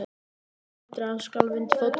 Pallurinn nötraði og skalf undir fótum hennar.